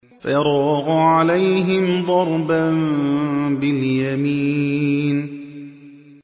فَرَاغَ عَلَيْهِمْ ضَرْبًا بِالْيَمِينِ